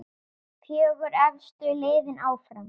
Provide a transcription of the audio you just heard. Fjögur efstu liðin áfram.